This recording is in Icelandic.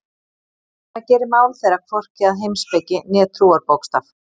En það gerir mál þeirra hvorki að heimspeki né trúarbókstaf.